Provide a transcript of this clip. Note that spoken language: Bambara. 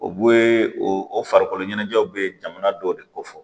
O bu o farikolo ɲɛnajɛw bɛ jamana dɔw de ko fɔ